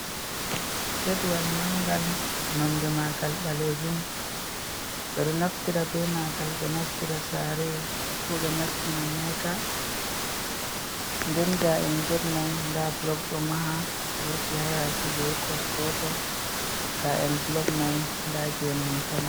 Getwal mangal, nonde mangal ɓaleejum. Ɓe ɗo naftira be mangal ɓe nastira sare, ko ɓe nastina mota. Nden gaa'en get mai nda blok ɗo maha, wurti ha yaasi be kos gotel. Gaa'en blok mai nda gene hon pama.